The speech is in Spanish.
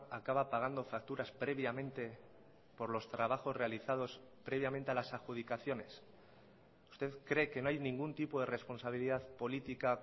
acaba pagando facturas previamente por los trabajos realizados previamente a las adjudicaciones usted cree que no hay ningún tipo de responsabilidad política